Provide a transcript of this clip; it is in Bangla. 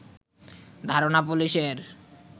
ধারণা পুলিশের